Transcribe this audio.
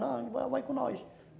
Não, vai vai com nós.